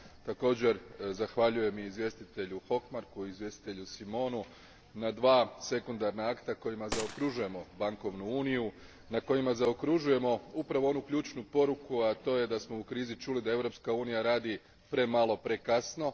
Također zahvaljujem izvjestitelju Hökmarku i Simonu na dva sekundarna akta kojima zaokružujemo bankovnu uniju, na kojima zaokružujemo upravo onu ključnu poruku, a to je da smo u krizi čuli da Europska unija radi premalo prekasno.